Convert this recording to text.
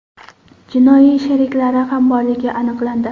jinoiy sheriklari ham borligi aniqlandi.